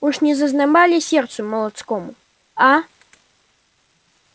уж не зазноба ли сердцу молодецкому а